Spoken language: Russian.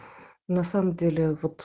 на самом деле вот